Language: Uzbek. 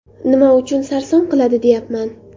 Nima uchun sarson qiladi, deyapman.